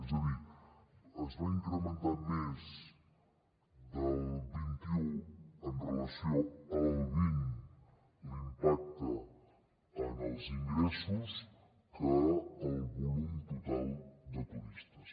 és a dir es va incrementar més del vint un amb relació al vint l’impacte en els ingressos que el volum total de turistes